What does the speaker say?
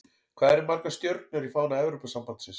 Hvað eru margar stjörnur í fána Evrópusambandsins?